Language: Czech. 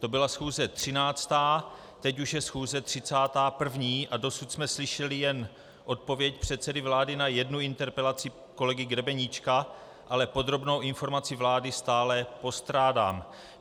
To byla schůze 13., teď už je schůze 31., a dosud jsme slyšeli jen odpověď předsedy vlády na jednu interpelaci kolegy Grebeníčka, ale podrobnou informaci vlády stále postrádám.